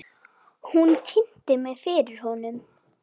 Hún kynnti mig fyrir honum.